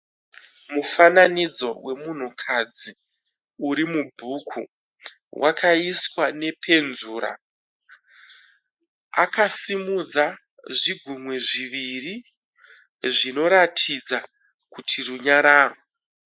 Mufananidzo wemunhu kadzi uri mubhuku. Wakaiswa nepenzura. Akasimudza zvigunwe zviviri zvinoratidza kuti runyararo.